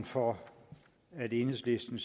for at enhedslisten